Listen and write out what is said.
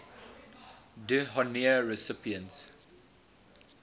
d honneur recipients